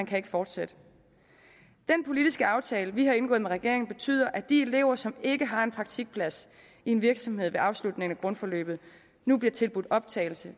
kan fortsætte den politiske aftale vi har indgået med regeringen betyder at de elever som ikke har en praktikplads i en virksomhed ved afslutningen af grundforløbet nu bliver tilbudt optagelse i